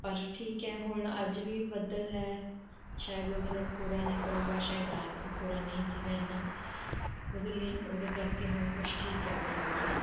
ਬਸ ਠੀਕ ਹੈ ਹੁਣ ਅੱਜ ਵੀ ਬੱਦਲ ਹੈ ਸ਼ਾਇਦ ਉਹਦੇ ਨਾਲ ਕੋਹਰਾ ਨਹੀਂ ਪਊਗਾ, ਸ਼ਾਇਦ ਰਾਤ ਵੀ ਕੋਹਰਾ ਨਹੀਂ ਸੀਗਾ ਇੰਨਾ, ਉਹਦੇ ਲਈ ਉਹਦੇ ਕਰਕੇ ਹੁਣ ਕੁਛ ਠੀਕ ਹੈ ਫਸਲ ਬਾੜੀ